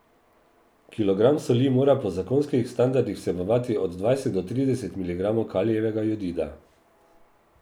Kilogram soli mora po zakonskih standardih vsebovati od dvajset do trideset miligramov kalijevega jodida.